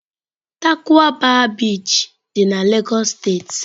Tarkwa bay Beach dị na Lagos State.